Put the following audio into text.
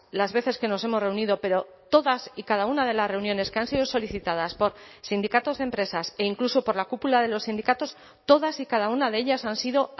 las veces que nos hemos reunido pero todas y cada una de las reuniones que han sido solicitadas por sindicatos de empresas e incluso por la cúpula de los sindicatos todas y cada una de ellas han sido